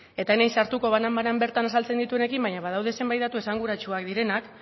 eta ez naiz sartuko banan bana bertan azaltzen dituenekin baina badaude zenbat datu esanguratsuak direnak